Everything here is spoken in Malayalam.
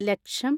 ലക്ഷം